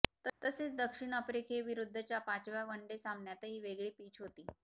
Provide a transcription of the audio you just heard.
तसेच दक्षिण आफ्रिकेविरुद्धच्या पाचव्या वनडे सामन्यातही वेगळी पिच होती